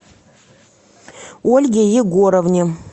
ольге егоровне